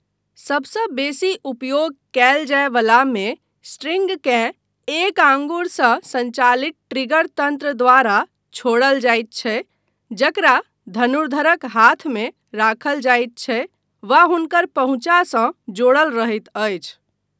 सबसँ बेसी उपयोग कयल जाय वलामे स्ट्रिंगकेँ एक आङ्गुरसँ सञ्चालित ट्रिगर तन्त्र द्वारा छोड़ल जाइत छै जकरा धनुर्धरक हाथमे राखल जाइत छै वा हुनकर पहुँचासँ जोड़ल रहैत अछि।